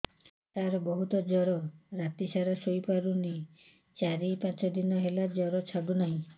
ସାର ବହୁତ ଜର ରାତି ସାରା ଶୋଇପାରୁନି ଚାରି ପାଞ୍ଚ ଦିନ ହେଲା ଜର ଛାଡ଼ୁ ନାହିଁ